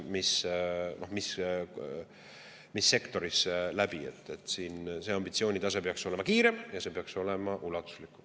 Siin see ambitsioonitase peaks olema ja see peaks olema ulatuslikum.